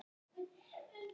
Jú, Edda man.